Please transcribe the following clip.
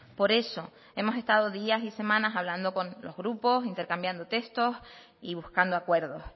por eso hemos estado días y semanas hablando con los grupos intercambiando textos y buscando acuerdos